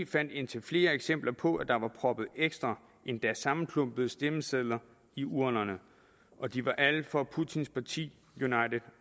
fandt indtil flere eksempler på at der var proppet ekstra og endda sammenklumpede stemmesedler i urnerne og de var alle for putins parti united